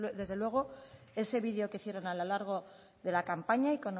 desde luego ese video que hicieron a lo largo de la campaña y